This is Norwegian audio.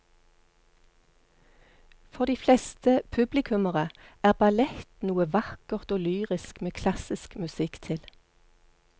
For de fleste publikummere er ballett noe vakkert og lyrisk med klassisk musikk til.